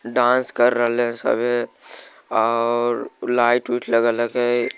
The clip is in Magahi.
डान्स कर रेल सब ओर लाइट वित लगल है के ।